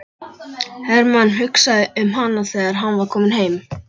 Hermann hugsaði um hana þegar hann var kominn heim.